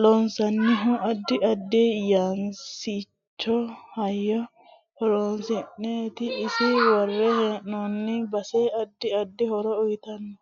loonsoonihu addi addi yanaasincho hayyo horoonsineeti ise worre heenooni basa addi addi horo uyiitanno